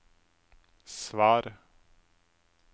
svar